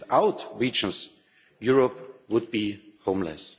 Without regions, Europe would be homeless.